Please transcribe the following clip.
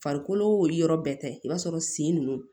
Farikolo yɔrɔ bɛɛ tɛ i b'a sɔrɔ sen nunnu